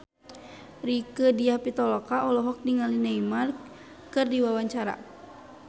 Rieke Diah Pitaloka olohok ningali Neymar keur diwawancara